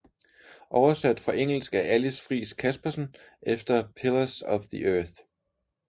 Oversat fra engelsk af Alis Friis Caspersen efter Pillars of the earth